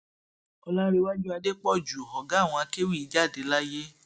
ọlàǹrẹwájú adépọjú ọgá àwọn akéwì jáde láyé